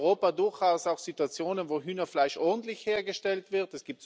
Es gibt in Europa durchaus auch Situationen, wo Hühnerfleisch ordentlich hergestellt wird.